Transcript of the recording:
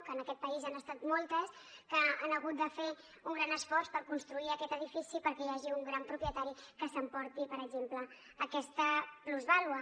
que en aquest país han estat moltes que han hagut de fer un gran esforç per construir aquest edifici perquè hi hagi un gran propietari que s’emporti per exemple aquesta plusvàlua